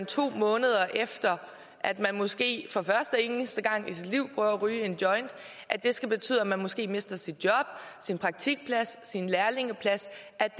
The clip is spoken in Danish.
to måneder efter at man måske for første og eneste gang i sit liv har prøvet at ryge en joint og at det skal betyde at man måske mister sit job sin praktikplads sin lærlingeplads